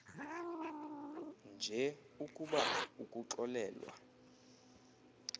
nje ukuba ukuxolelwa